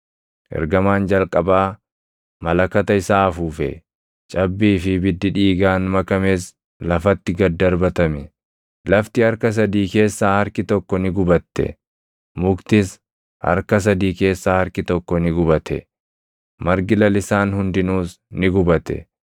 Ergamaan jalqabaa malakata isaa afuufe; cabbii fi ibiddi dhiigaan makames lafatti gad darbatame. Lafti harka sadii keessaa harki tokko ni gubatte; muktis harka sadii keessaa harki tokko ni gubate; margi lalisaan hundinuus ni gubate.